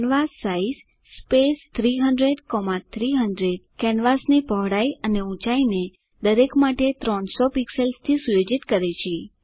કેન્વાસાઇઝ 300300 કેનવાસની પહોળાઇ અને ઊંચાઇને દરેક માટે 300 પિક્સેલ્સથી સુયોજિત કરે છે